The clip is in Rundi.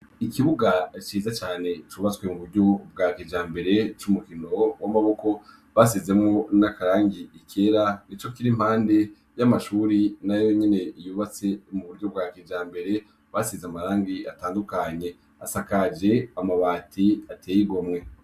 Ikibuga aciza cane cubatswe mu buryo bwa kija mbere c'umukino w'amaboko basizemwo n'akarangi ikera ni co kiri mpande y'amashuri na yo nyene iyubatse mu buryo bwa kija mbere basize amarangi atandukanye asakaje amabati ateye igomwe.